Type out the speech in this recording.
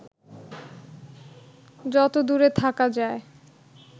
যত দূরে থাকা যায়